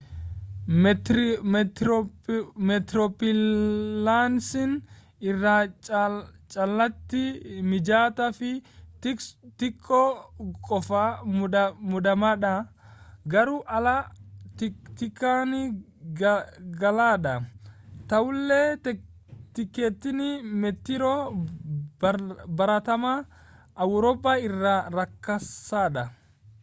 meetiroopilaasin irra caalaatti mijataa fi xiqqoo qofa muddamaadha garuu haala xiqqaan qaala'aadha ta'ullee tikkeettiin meetiroo baratamaa awurooppaa irra rakasaadha